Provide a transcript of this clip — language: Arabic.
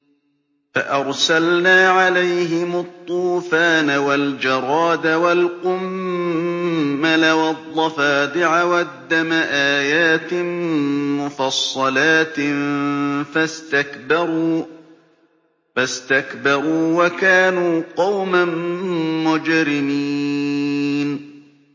فَأَرْسَلْنَا عَلَيْهِمُ الطُّوفَانَ وَالْجَرَادَ وَالْقُمَّلَ وَالضَّفَادِعَ وَالدَّمَ آيَاتٍ مُّفَصَّلَاتٍ فَاسْتَكْبَرُوا وَكَانُوا قَوْمًا مُّجْرِمِينَ